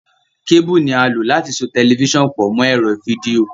Kébúù ni a lò láti so tẹlifiṣàn pọ̀ mọ́ ẹ̀rọ fídíò.